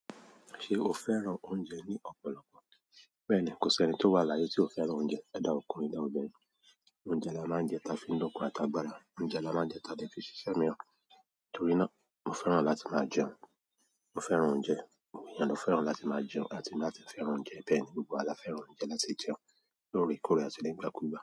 Ṣe o fẹ́ràn oúnjẹ ní ọ̀pọ̀lọpọ̀? Bẹ́ẹ̀ni, kò sí ẹnì tó wà láyé tí ò fẹ́ràn oúnjẹ. Either ọkùnrin, tàbí obìnrin. Oúnjẹ là máa ń jẹ ta fi ń lókùn àti agbára, oúnjẹ là máa ń jẹ ta dẹ́ fi n ṣíṣémí ran. Nítorí náà mo fẹ́ràn láti máa jẹun. Mo fẹ́ràn oúnjẹ. Àwọn èèyàn ló fẹ́ràn láti máa jẹun àti láti fẹ́ràn oúnjẹ. Bẹ́ẹ̀ni, gbogbo wa la fẹ́ràn ẹnití jẹun. Lórí ìkórè àti nígbàkúùgbà.